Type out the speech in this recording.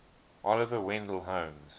oliver wendell holmes